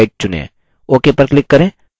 ok पर click करें